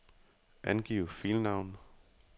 Angiv filnavn.